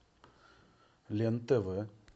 лен тв